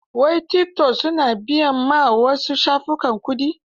Wai tikitok su na biyan ma su wasu shafukan kuɗi?